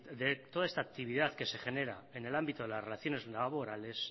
de todas esta actividad que se genera en el ámbito de las relaciones laborales